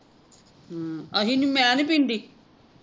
ਹਮ ਅਸੀਂ ਨਹੀਂ ਮੈਂ ਨਹੀਂ ਪਿੰਦੀ